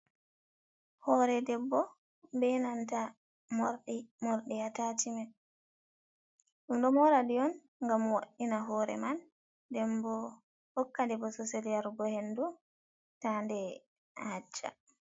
Hore debbo be nanta morɗi, morɗi atachimen. Ɗum ɗo mora ɗi on gam wo'ina hore man, den bo hokka nde bosesel yarugo hindu ta nde hacca.